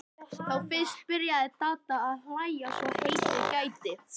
Þá fyrst byrjaði Dadda að hlæja svo heitið gæti.